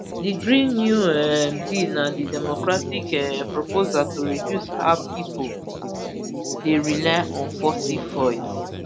di green new um deal na di democratic um proposal to reduce how pipo dey rely on fossil fuels